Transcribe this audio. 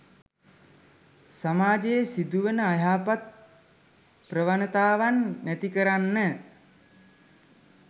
සමාජයේ සිදුවන අයහපත් ප්‍රවණතාවන් නැති කරන්න